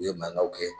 U ye mankanw kɛ